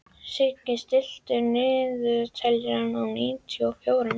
Siggi, stilltu niðurteljara á níutíu og fjórar mínútur.